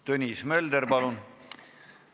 Tõnis Mölder, palun!